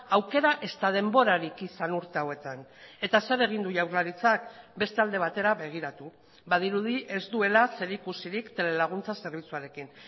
aukera ezta denborarik izan urte hauetan eta zer egin du jaurlaritzak beste alde batera begiratu badirudi ez duela zerikusirik telelaguntza zerbitzuarekin